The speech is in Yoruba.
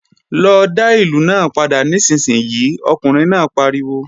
Lọ dá ìlù náà padà nísinsìnyí, ọkùnrin náà pariwo!